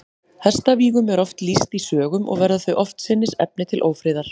Hestavígum er oft lýst í sögum, og verða þau oftsinnis efni til ófriðar.